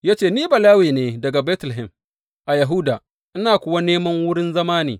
Ya ce, Ni Balawe ne daga Betlehem a Yahuda, ina kuwa neman wurin zauna ne.